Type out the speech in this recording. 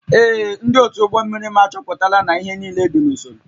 Ee. Ndị otu ụgbọ mmiri m achọpụtala na ihe niile dị n'usoro